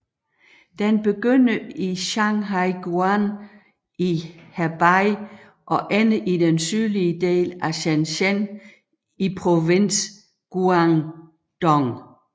Den begynder i Shanhaiguan i Hebei og ender i den sydlige del af Shenzhen i provinsen Guangdong